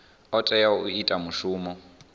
o tea u ita mushumo